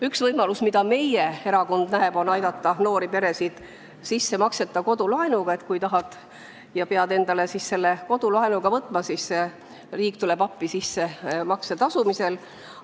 Üks võimalus, mida meie erakond siin näeb, on aidata noori peresid sissemakseta kodulaenuga, nii et kui pead kodulaenu võtma, siis riik tuleb appi sissemakse tasumisel.